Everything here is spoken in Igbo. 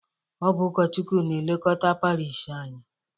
Ọ bụ ụkọchukwu na-elekota parish anyị.